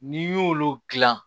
N'i y'olu dilan